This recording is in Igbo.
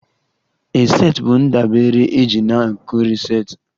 A set bụ ndabere eji na a nkiri set